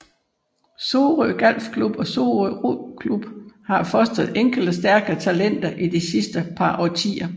Sorø Golfklub og Sorø Roklub har fostret enkelte stærke talenter i de sidste par årtier